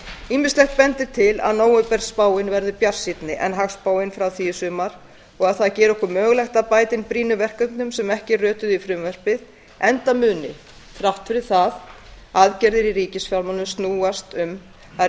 ýmislegt bendir til að nóvemberspáin verði bjartsýnni en hagspáin frá því í sumar og að það geri okkur mögulegt að bæta inn brýnum verkefnum sem ekki rötuðu í frumvarpið enda muni þrátt fyrir það aðgerðir í ríkisfjármálum snúast um að